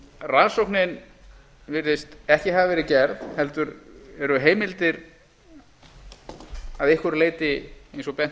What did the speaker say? rannsóknin virðist ekki hafa verið gerð heldur eru heimildir að einhverju leyti eins og bent hefur